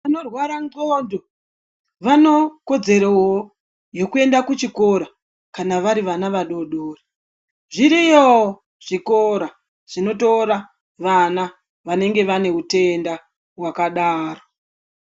Vanorwara ngonxo vane kodzero yekuenda kuchikora kana vari vana vadodori zvuriyowo zvikora zvinotora vana vanenge vane hutenda hwakadaro.